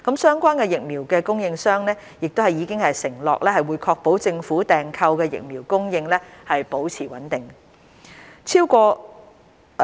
相關疫苗供應商已承諾會確保政府訂購的疫苗供應保持穩定。